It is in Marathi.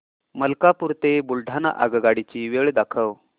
मलकापूर ते बुलढाणा आगगाडी ची वेळ दाखव